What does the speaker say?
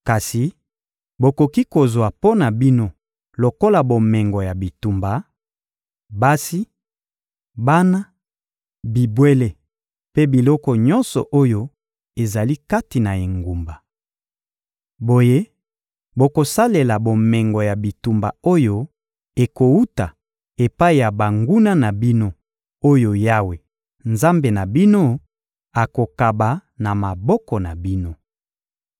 Kasi bokoki kozwa mpo na bino lokola bomengo ya bitumba: basi, bana, bibwele mpe biloko nyonso oyo ezali kati na engumba. Boye bokosalela bomengo ya bitumba oyo ekowuta epai ya banguna na bino oyo Yawe, Nzambe na bino, akokaba na maboko na bino.